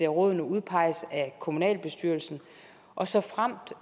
rådene udpeges af kommunalbestyrelsen og såfremt